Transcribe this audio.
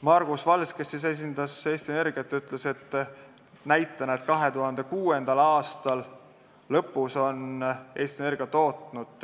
Margus Vals, kes esindas Eesti Energiat, ütles näitena, et 2006. aasta lõpus tootis Eesti Energia